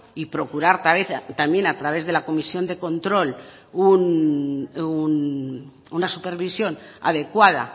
y procurar también a través de la comisión de control una supervisión adecuada